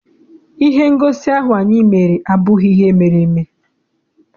Ihe ngosi ahụ anyị mere abụghị ihe mere eme.